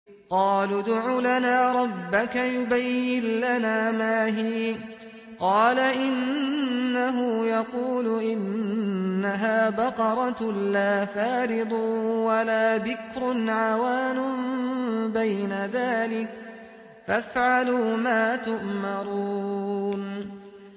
قَالُوا ادْعُ لَنَا رَبَّكَ يُبَيِّن لَّنَا مَا هِيَ ۚ قَالَ إِنَّهُ يَقُولُ إِنَّهَا بَقَرَةٌ لَّا فَارِضٌ وَلَا بِكْرٌ عَوَانٌ بَيْنَ ذَٰلِكَ ۖ فَافْعَلُوا مَا تُؤْمَرُونَ